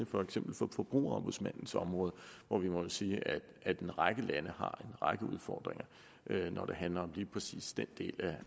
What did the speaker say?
for eksempel forbrugerombudsmandens område hvor vi må sige at en række lande har en række udfordringer når det handler om lige præcis den del